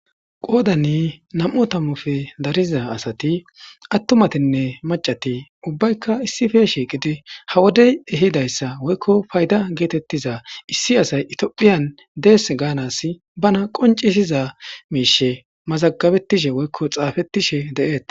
qoodani nam7o tammufe dariza asati attumatinne macati ubbaykka issife shiiqidi ha wodey ehidayssa woykko payda geetettiza issi asay itiophiyan dees gaanas bana qoncisiza miishe mazagabettishe woykko xaafettishe deeeta